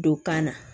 Don kan na